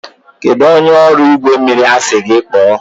kedụ onye ọrụ igwe mmiri a sị gị kpọọ?